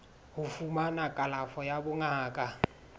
ho fumana kalafo ya bongaka